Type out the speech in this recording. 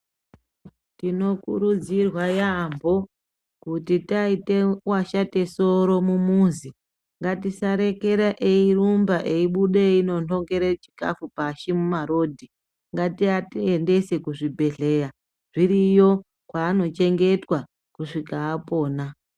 Tinokurudzirwa yaambo kuti taite washate soro mumuzi ngatisarekera eirumba eibuda eindonongere chikafu pashi mumarodhi. Ngatiaendese kuzvibhedhleya zviriyo kwaanochengetwa kusvika apona.